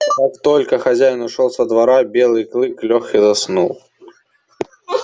как только хозяин ушёл со двора белый клык лёг и заснул